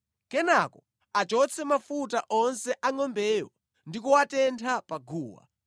Kenaka achotse mafuta onse a ngʼombeyo ndi kuwatentha pa guwa,